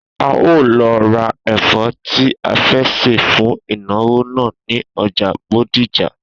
A óò lo̩ ra è̩fó̩ tí a fé̩ sè fún ìnàwó náà ní o̩jà Bódìjà